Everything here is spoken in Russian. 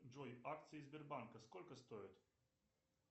джой акции сбербанка сколько стоят